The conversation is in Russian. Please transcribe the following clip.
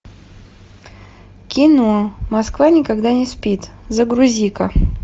кино москва никогда не спит загрузи ка